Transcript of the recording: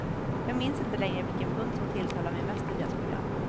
Jag minns inte längre vilken punkt som tilltalade mig mest i deras program.